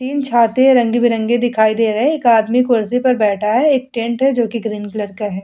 तीन छत हैं रंग-बिरंगे दिखाई दे रहे है एक आदमी कुर्सी पर बैठा है एक टेंट है जो कि ग्रीन कलर का है ।